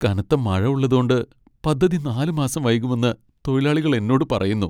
കനത്ത മഴ ഉള്ളതോണ്ട് പദ്ധതി നാല് മാസം വൈകുമെന്ന് തൊഴിലാളികൾ എന്നോട് പറയുന്നു.